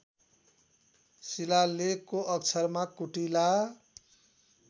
शिलालेखको अक्षरमा कुटिला